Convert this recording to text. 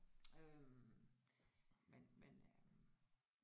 Øh men men øh